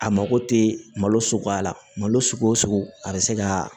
A mako tɛ malo suguya la malo sugu o sugu a bɛ se ka